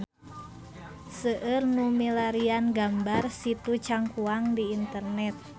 Seueur nu milarian gambar Situ Cangkuang di internet